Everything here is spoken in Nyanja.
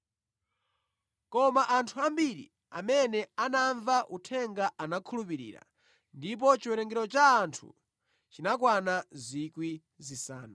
Koma anthu ambiri amene anamva uthenga anakhulupirira, ndipo chiwerengero cha anthu chinakwana 5,000.